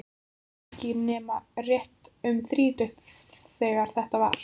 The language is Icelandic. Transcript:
Hún var ekki nema rétt um þrítugt þegar þetta var.